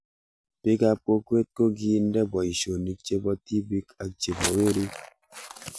Pik ab kokwet ko kiinde poishonik chepo tipik ak chepo werik